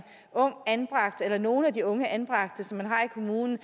ung anbragt eller fra nogle af de unge anbragte som man har i kommunen